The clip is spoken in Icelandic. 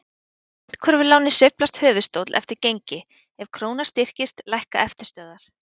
Á myntkörfuláni sveiflast höfuðstóll eftir gengi, ef króna styrkist lækka eftirstöðvar.